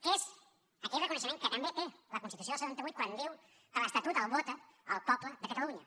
que és aquell reconeixement que també té la constitució del setanta vuit quan diu que l’estatut el vota el poble de catalunya